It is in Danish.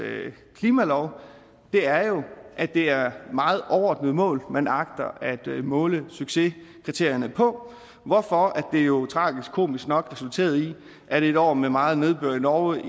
klimalov det er jo at det er meget overordnede mål man agter at måle succeskriterierne på hvorfor det jo tragikomisk nok resulterede i at i et år med meget nedbør i norge